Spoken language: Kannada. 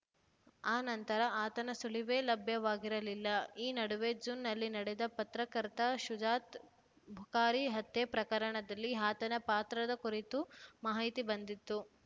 ಆ ನಂತರ ಆತನ ಸುಳಿವೇ ಲಭ್ಯವಾಗಿರಲಿಲ್ಲ ಈ ನಡುವೆ ಜೂನ್‌ನಲ್ಲಿ ನಡೆದ ಪತ್ರಕರ್ತ ಶುಜಾತ್‌ ಬುಖಾರಿ ಹತ್ಯೆ ಪ್ರಕರಣದಲ್ಲಿ ಆತನ ಪಾತ್ರದ ಕುರಿತು ಮಾಹಿತಿ ಬಂದಿತ್ತು